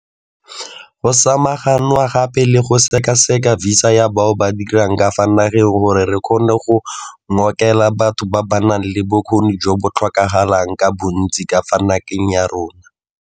Go samaganwe gape le go sekaseka visa ya bao ba dirang ka fa nageng gore re kgone go ngokela batho ba ba nang le bokgoni jo bo tlhokagalang ka bontsi ka fa nageng ya rona.